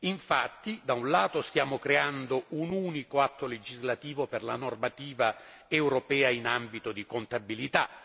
Infatti, da un lato, stiamo creando un unico atto legislativo per la normativa europea in ambito di contabilità